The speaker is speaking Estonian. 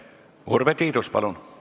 Urve Tiidus, palun!